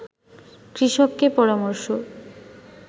কৃষককে পরামর্শ